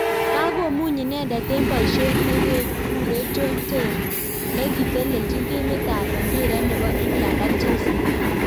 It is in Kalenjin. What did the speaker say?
Kako muny inendet eng boishet nekekure John Terry nekiteljin timit ab mbiret nebo England ak chelsea.